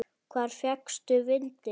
Hvar fékkstu vindil?